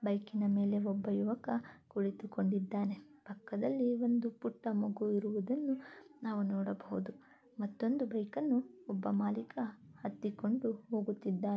Bike ನ ಮೇಲೆ ಒಬ್ಬ ಯುವಕ ಕುಳಿತುಕೊಂಡಿದ್ದಾನೆ ಪಕದಲ್ಲಿ ಒಂದು ಪುಟ್ಟ ಮಗು ಇರುವುದನ್ನು ನಾವು ನೋಡಬಹುದು. ಮತ್ತೊಂದು ಬೈಕ್ ಅನ್ನು ಒಬ್ಬ ಮಾಲೀಕ ಹತ್ತಿಕೊಂಡು ಹೋಗುತ್ತಿದ್ದಾನೆ.